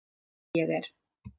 Hvort ég er.